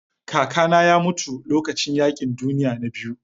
Kakana ya mutu lokacin yaƙin duniya na biyu.